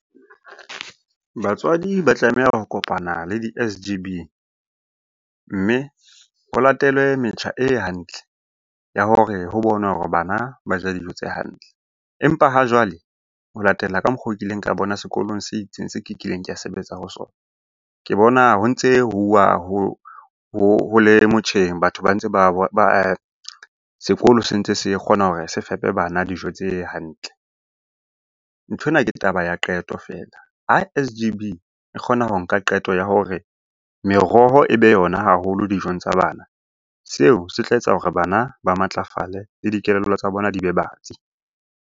Batswadi ba tlameha ho kopana le di-S_G_B, mme ho latele metjha e hantle ya hore ho bonwe hore bana ba ja dijo tse hantle. Empa ha jwale ho latela ka mokgo kileng ka bona sekolong se itseng se kileng kao sebetsa ho sona. Ke bona ho ntse ho uwa ho le motjheng, batho ba ntse sekolo se ntse se kgona hore se fepe bana dijo tse hantle. Nthwena ke taba ya qeto feela. Ha S_G_B e kgona ho nka qeto ya hore meroho e be yona haholo dijong tsa bana, seo se tla etsa hore bana ba matlafale le dikelello tsa bona di be batsi.